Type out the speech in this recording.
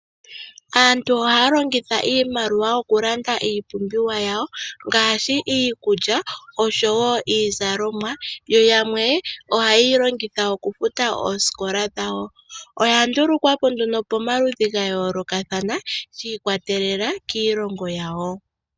Aantu ohaya longitha iimaliwa okulanda iipumbiwa yawo ngaashi iikulya oshowo iizalomwa yo yamwe ohaye yi longitha okufuta oosikola dhawo, oya ndulukwapo pomaludhi ga yoolokathana shiikwatelela kiilongo yawo.